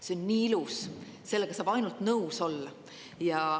See on nii ilus, sellega saab ainult nõus olla.